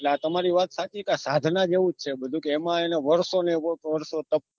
ના તમારી વાત સાચી છે સાધના જેવું જ છે બધું એમાં એવું વરસો ને વરસો